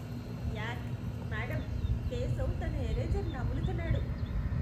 యాక్! Madam, Keshav తన eraser నములుతున్నాడు.